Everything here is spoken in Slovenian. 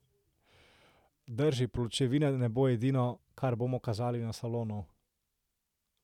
Drži, pločevina ne bo edino, kar bomo kazali na salonu.